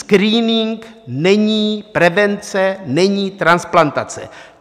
Screening není prevence, není transplantace.